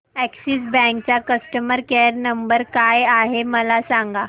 Axis bank चा customer care number काय आहे मला सांगा